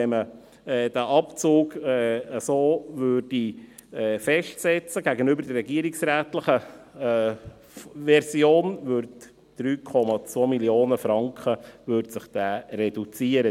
Wenn man diesen Abzug so festsetzen würde, würden sich die Mindereinnahmen gegenüber der regierungsrätlichen Version um 3,2 Mio. Franken reduzieren.